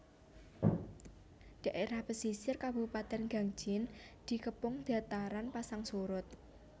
Dhaerah pesisir kabupatèn Gangjin dikepung dataran pasang surut